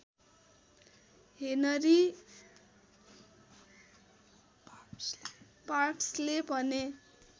Henry पार्क्सले भने